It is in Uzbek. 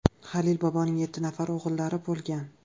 Halil boboning yetti nafar o‘g‘illari bo‘lgan.